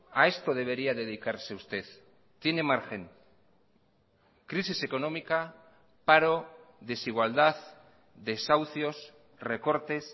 a esto debería dedicarse usted tiene margen crisis económica paro desigualdad desahucios recortes